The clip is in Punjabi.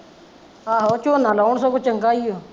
ਆਹੋ ਝੋਨਾ ਲਾਉਣ ਸਗੋਂ ਚੰਗਾ ਈ ਆ